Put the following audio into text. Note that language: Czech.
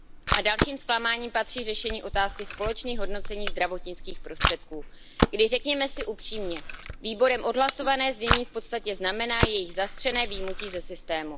A k dalším zklamáním patří řešení otázky společných hodnocení zdravotnických prostředků, kdy, řekněme si upřímně, výborem odhlasované znění v podstatě znamená jejich zastřené vyjmutí ze systému.